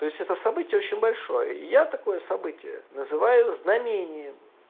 то это событие очень большое я такое событие называю знамением